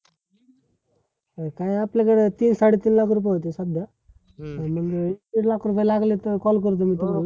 काय आपले जरा तीन साडे-तीन लाख रुपये होतील सध्या आणि मग एक लाख रुपये लागले तर call करतो मी